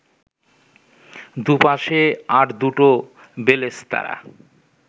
দুপাশে আর দুটো বেলেস্তারা